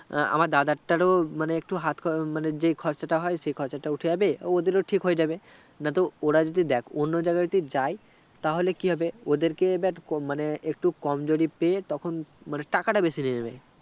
আমার দাদার তারও মানে একটু হাতখমানে যেই খরচাটা হয় সে খরচটা উঠে যাবে, ওদেরও ঠিক হয়ে যাবে নাত ওরা যদি দেক অন্য জায়গায় যদি জায়গায় যদি যাই তাহলে কি হবে ওদেরকে এবার কমানে একটু কমজোরি পেয়ে তখন মানে টাকাটা বেশি নিয়ে নেবে